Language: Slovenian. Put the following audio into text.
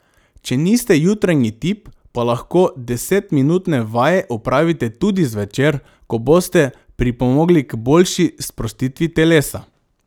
Če niste jutranji tip, pa lahko desetminutne vaje opravite tudi zvečer, ko boste pripomogli k boljši sprostitvi telesa.